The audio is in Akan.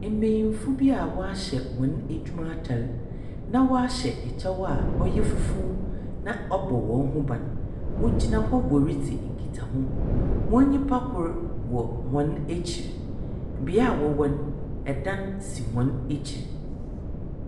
Mbenyimfo bi a wɔahyɛ wɔn adwuma atar. Na wɔahyɛ kyɛw fufuw a ɔbɔ wɔn ho ban. Wɔgyina hɔ wɔredzi nkitaho. Wɔn nnyipa kor wɔ hɔn akyir. Bea a wɔwɔ no, dan si hɔn akyir.